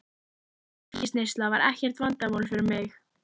Áfengisneysla var ekkert vandamál fyrir mig.